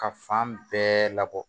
Ka fan bɛɛ labɔ